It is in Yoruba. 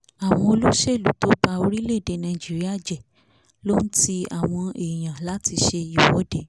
àwọn olóṣèlú tó ba orílẹ̀ èdè nàíjíríà jẹ́ ló ń ti àwọn èèyàn láti se ìwọ́de